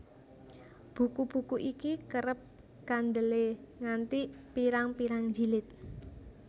Buku buku iki kerep kandelé nganti pirang pirang jilid